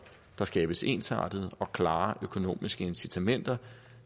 der skabes ensartede og klare økonomiske incitamenter